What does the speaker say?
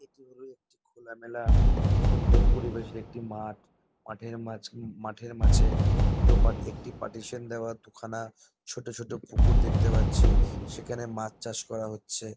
এটি হলো একটি খোলা মেলা সুন্দর পরিবেশের একটি মাঠ। মাঠের মাঝ এম মাঠের মাঝে দুটো পাট একটি পাটিশন দেওয়া দু খানা ছোট ছোট পুকুর দেখতে পাচ্ছি সেখানে মাছ চাষ করা হচ্ছে।